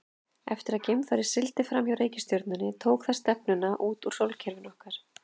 Eftir að geimfarið sigldi fram hjá reikistjörnunni tók það stefnuna út úr sólkerfinu okkar.